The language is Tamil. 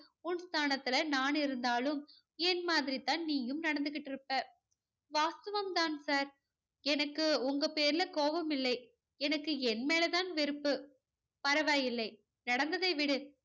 உன் ஸ்தானத்துல நான் இருந்தாலும் என் மாதிரி தான் நீயும் நடந்துகிட்டு இருப்ப. வாஸ்தவம் தான் சார் எனக்கு உங்க பேர்ல கோபம் இல்லை எனக்கு என் மேல தான் வெறுப்பு. பரவாயில்லை நடந்ததை விடு.